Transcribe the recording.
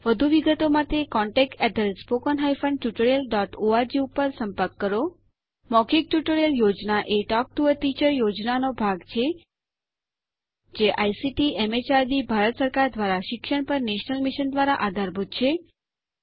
વધુ વિગતો માટે contactspoken tutorialorg ઉપર સંપર્ક કરો મૌખિક ટ્યુટોરીયલ યોજના એ ટોક ટુ અ ટીચર યોજનાનો ભાગ છે જે આઇસીટીએમએચઆરડીભારત સરકાર દ્વારા શિક્ષણ પર નેશનલ મિશન દ્વારા આધારભૂત છે